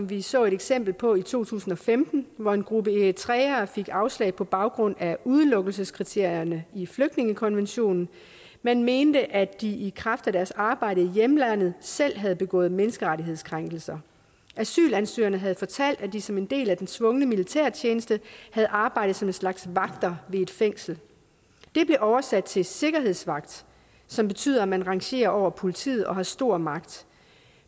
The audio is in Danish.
vi så et eksempel på i to tusind og femten hvor en gruppe eritreere fik afslag på baggrund af udelukkelseskriterierne i flygtningekonventionen man mente at de i kraft af deres arbejde i hjemlandet selv havde begået menneskerettighedskrænkelser asylansøgerne havde fortalt at de som en del af den tvungne militærtjeneste havde arbejdet som en slags vagter ved et fængsel det blev oversat til sikkerhedsvagt som betyder at man rangerer over politiet og har stor magt